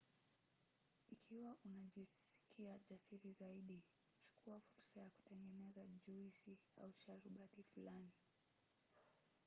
ikiwa unajisikia jasiri zaidi chukua fursa ya kutengeneza juisi au sharubati fulani: